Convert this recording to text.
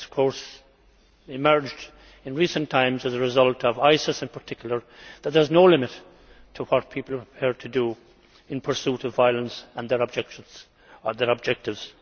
It has emerged in recent times, as a result of ISIS in particular, that there is no limit to what people are prepared to do in pursuit of violence and their objectives.